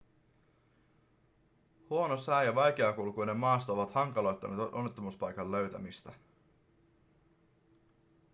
huono sää ja vaikeakulkuinen maasto ovat hankaloittaneet onnettomuuspaikan löytämistä